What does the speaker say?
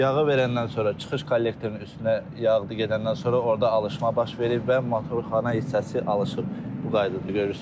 Yağı verəndən sonra çıxış kollektorinin üstünə yağdır gedəndən sonra orda alışma baş verib və motorxana hissəsi alışıb bu qaydada görürsüz.